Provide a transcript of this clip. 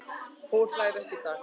Fólk hlær ekki í dag.